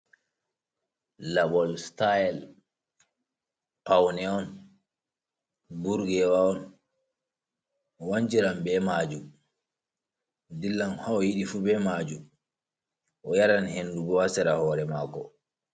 Labol sitayel powne on, burgewa on, wanshiran ɓee maajum, dillan ha o yiɗii fuu be maajum, o yaran hendu boo haa sera hoore maako.